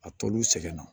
A tol'u sɛgɛn na